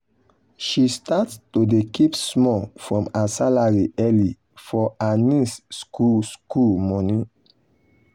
she start to dey keep small from her salary early for her niece school school money.